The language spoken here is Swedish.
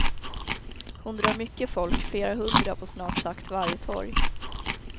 Hon drar mycket folk, flera hundra på snart sagt varje torg.